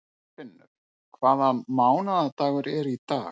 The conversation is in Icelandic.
Kolfinnur, hvaða mánaðardagur er í dag?